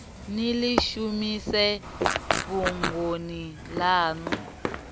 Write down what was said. ni ḽi shumise fhungoni ḽaṋu